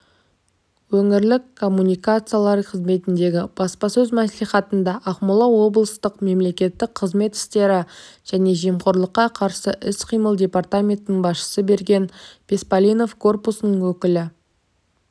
өңірлік коммуникациялар қызметіндегі баспасөз мәслихатында ақмола облыстық мемлекеттік қызмет істері және жемқорлыққа қарсы іс-қимыл департаментінің басшысы берген беспалинов корпусының өкілі